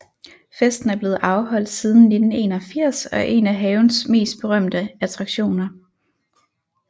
Festen er blevet afholdt siden 1981 og er en af havens mest berømte attraktioner